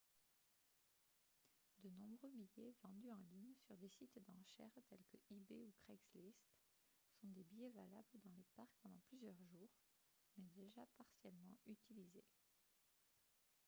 de nombreux billets vendus en ligne sur des sites d'enchères tels que ebay ou craigslist sont des billets valables dans les parcs pendant plusieurs jours mais déjà partiellement utilisés